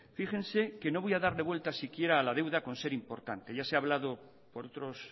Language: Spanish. fíjense que no voy a darle vuelta si quiera a la deuda por ser importante ya se ha hablado por otros